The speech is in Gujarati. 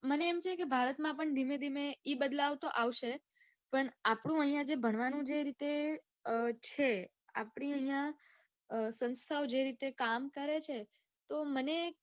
મને એમ છે કે ભારતમાં પણ ધીમે ધીમે એ બદલાવ તો આવશે પણ આપણું આઇયા જે ભણવાનું છે જે રીતે છે આપણી આઇયા સંસ્થાઓ જે રીતે કામ કરે છે તો મને